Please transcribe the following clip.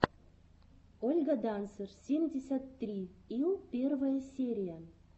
ольга дансер семьдесят три ил первая серия